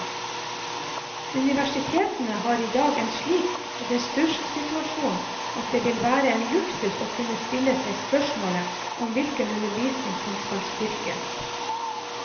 Universitetene har i dag en slik ressurssituasjon at det vil være en luksus å kunne stille seg spørsmålet om hvilken undervisning som skal styrkes.